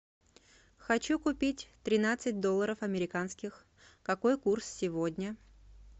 хочу купить тринадцать долларов американских какой курс сегодня